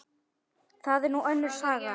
Það er nú önnur saga.